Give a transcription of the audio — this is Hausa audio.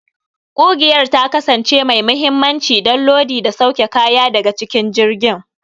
Ƙugiyar ta kasance mai mahimmanci don lodi da sauke kaya daga cikin jirgin.